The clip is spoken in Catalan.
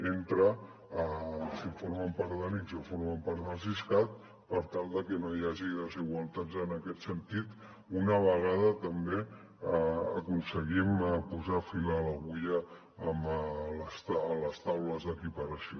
entre si formen part de l’ics o formen part del siscat per tal que no hi hagi desigualtats en aquest sentit una vegada també aconseguim posar fil a l’agulla a les taules d’equiparació